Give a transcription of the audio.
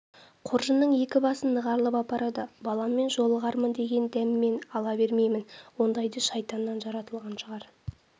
қоржынның екі басын нығарлап апарады баламмен жолығармын деген дәмемен алла бермейді ондайды шайтаннан жаратылған шығар